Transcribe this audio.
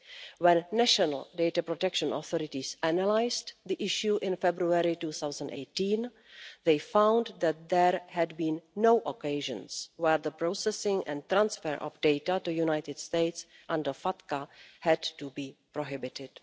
When national data protection authorities analysed the issue in February 2018, they found that there had been no occasions where the processing and transfer of data to the United States under FATCA had to be prohibited.